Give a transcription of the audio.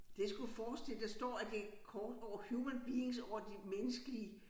Det skulle forestille der står at det et kort over human beings over de menneskelige